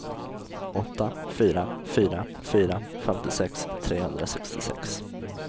åtta fyra fyra fyra femtiosex trehundrasextiosex